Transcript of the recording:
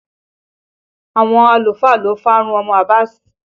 Àwọn àlùfáà ló farun ọmọ Abass